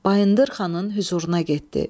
Bayındır xanın hüzuruna getdi.